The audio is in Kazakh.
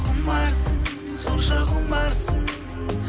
құмарсың сонша құмарсың